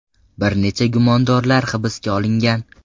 Bir necha gumondorlar hibsga olingan.